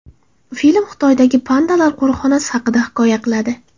Film Xitoydagi pandalar qo‘riqxonasi haqida hikoya qiladi.